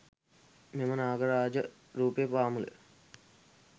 මෙම නාගරාජ රූපය පාමුල